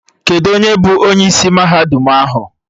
Kedụ onye bụ onye isi mahadum ahụ?